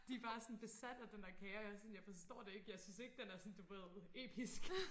De bare sådan besat af den der kage og jeg er sådan jeg forstår det ikke jeg synes ikke den er sådan du ved episk